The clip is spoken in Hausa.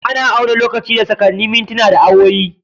Ana auna lokaci da sakanni, mintina, da awowi.